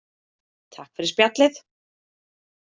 Takk fyrir spjallið.